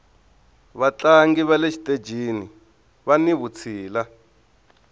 vatlangi vale xitejini vani vutshila